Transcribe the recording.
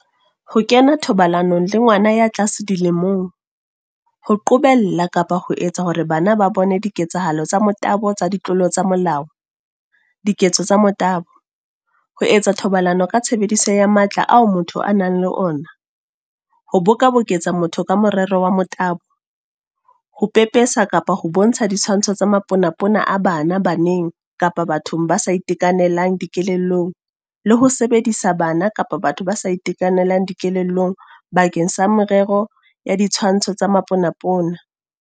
Ho kena thobalanong le ngwana ya tlase dilemong, Ho qobella kapa ho etsa hore bana ba bone diketsahalo tsa motabo tsa ditlolo tsa molao, Diketso tsa motabo, Ho etsa thobalano ka tshebediso ya matla ao motho a nang le ona, Ho bokaboketsa motho ka morero wa motabo, Ho pepesa kapa ho bontsha ditshwantsho tsa maponapona a bana baneng kapa bathong ba sa itekanelang dikelellong le ho sebedisa bana kapa batho ba sa itekanelang dikelellong bakeng sa merero ya ditshwantsho tsa maponapona.